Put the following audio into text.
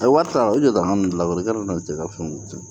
A ye wari ta o ye jakuma ninnu lawaleya tɛ ka fɛn tiɲɛ